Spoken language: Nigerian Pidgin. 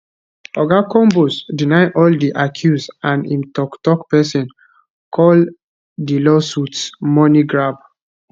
oga combs deny all di accuse and im toktok pesin call di lawsuits money grab